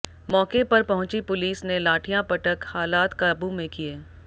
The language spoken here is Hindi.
मौके पर पहुंची पुलिस ने लाठियां पटक हालात काबू में किए